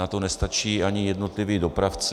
Na to nestačí ani jednotliví dopravci.